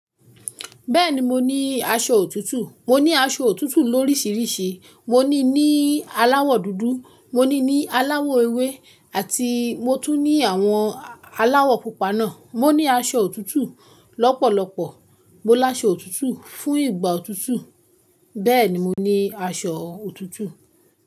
Bẹ́ẹ̀ni mo ní aṣọ òtútù. Mo ní aṣọ òtútù lóríṣìríṣì. Mo ní ní aláwọ̀ dúdú, mo ní ní aláwọ̀ ewé àti mo tún ní àwọn aláwọ̀ pupa náà. Mo ní aṣọ òtútù lọ́pọ̀lọpọ̀. Mo la aṣọ òtútù fún ìgbà òtútù. Bẹ́ẹ̀ni mo ní aṣọ òtútù.